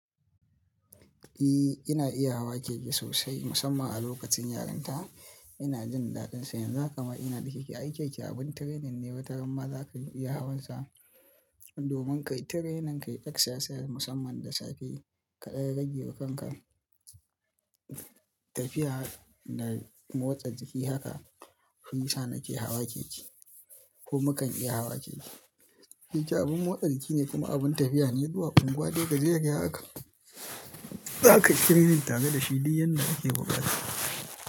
Eh, ina iya hawa keke sosai musamman a lokacin yaranta. Ina jin daɗin sa--. Yanzu haka ma ina da keke. Ai keke abin training ne wataran ma za ka iya hawan sa. Domin ka yi training, ka yi exercises musamman da sake kaɗan rage wa kanka. Tafiya da motsa jiki haka shi yisa ni ke hawa keke ko mukan iya hawa keke. Keke abin motsa jiki ne kuma abin tafiya ne zuwa unguwa dai gajeriya haka. Za ka yi training tare da shi duk yanda kake buƙata.